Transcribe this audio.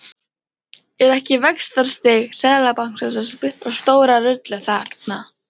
Er ekki vaxtastig Seðlabankans að spila stóra rullu þarna?